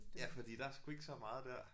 Ja fordi der er sgu ikke så meget der